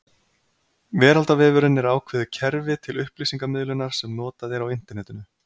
Veraldarvefurinn er ákveðið kerfi til upplýsingamiðlunar sem notað er á Internetinu.